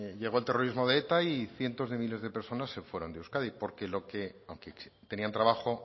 llegó el terrorismo de eta y cientos de miles de personas se fueron de euskadi porque aunque tenían trabajo